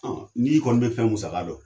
N'i kɔni bɛ fɛn musaka dɔn,